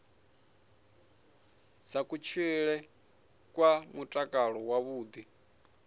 dza kutshilele kwa mutakalo wavhuḓi